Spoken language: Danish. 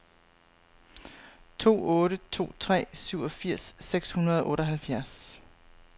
to otte to tre syvogfirs seks hundrede og otteoghalvfjerds